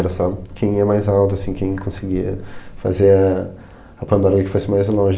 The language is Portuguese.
Era só quem ia mais alto, assim, quem conseguia fazer a a pandorga que fosse mais longe.